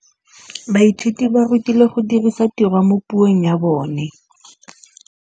Baithuti ba rutilwe go dirisa tirwa mo puong ya bone.